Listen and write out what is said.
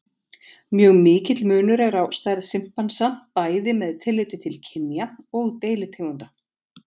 Mjög mikill munur er á stærð simpansa bæði með tilliti til kynja og deilitegunda.